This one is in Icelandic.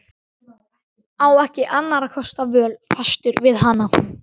Á ekki annarra kosta völ, fastur við hana.